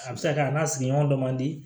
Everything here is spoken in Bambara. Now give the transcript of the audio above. A bɛ se ka kɛ a n'a sigiɲɔgɔn dɔ man di